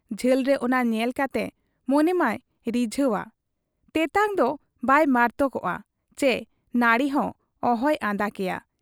ᱡᱷᱟᱹᱞᱨᱮ ᱚᱱᱟ ᱧᱮᱞ ᱠᱟᱛᱮ ᱢᱚᱱᱮ ᱢᱟᱭ ᱨᱤᱡᱷᱟᱹᱣ ᱟ, ᱛᱮᱛᱟᱝ ᱫᱚ ᱵᱟᱭ ᱢᱟᱟᱨᱛᱚᱠ ᱟ ᱪᱤ ᱱᱟᱹᱨᱲᱤ ᱦᱚᱸ ᱚᱦᱚᱭ ᱟᱫᱟ ᱠᱮᱭᱟ ᱾